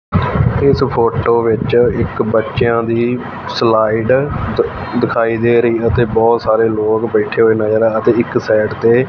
ਇਸ ਫੋਟੋ ਵਿੱਚ ਇੱਕ ਬੱਚਿਆਂ ਦੀ ਸਲਾਈਡ ਦਿਖਾਈ ਦੇ ਰਹੀ ਅਤੇ ਬਹੁਤ ਸਾਰੇ ਲੋਕ ਬੈਠੇ ਹੋਏ ਨਜ਼ਰ ਅਤੇ ਇੱਕ ਸਾਈਡ ਤੇ--